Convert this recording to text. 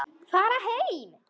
Fara heim!